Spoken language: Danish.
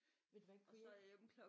Ved du hvad kunne jeg ikke